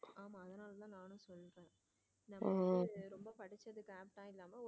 நம்ம வந்து ரொம்ப படிச்சதுக்கு appt இல்லாம.